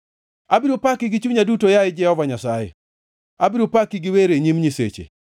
Abiro paki gi chunya duto, yaye Jehova Nyasaye; abiro paki gi wer e nyim nyiseche.